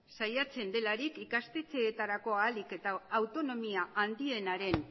saiatzen delarik ikastetxeetarako ahalik eta autonomia handienaren